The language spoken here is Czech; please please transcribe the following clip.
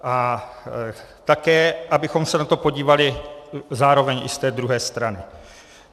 A také abychom se na to podívali zároveň i z té druhé strany.